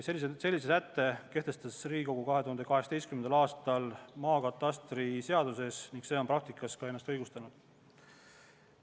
Sellise sätte kehtestas Riigikogu 2018. aastal ka maakatastriseaduses ning see on praktikas ennast õigustanud.